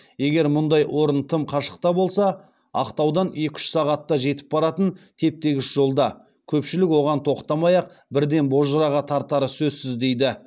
егер мұндай орын тым қашықта болса ақтаудан екі үш сағатта жетіп баратын теп тегіс жолда көпшілік оған тоқтамай ақ бірден бозжыраға тартары сөзсіз дейді